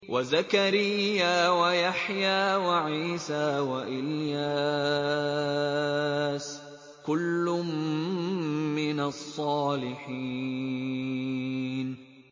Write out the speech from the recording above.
وَزَكَرِيَّا وَيَحْيَىٰ وَعِيسَىٰ وَإِلْيَاسَ ۖ كُلٌّ مِّنَ الصَّالِحِينَ